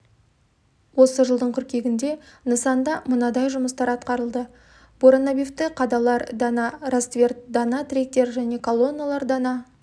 осы жылдың қыркүйегінде нысанда мынадай жұмыстар атқарылды буронабивті қадалар дана ростверт дана тіректер және колонналар дана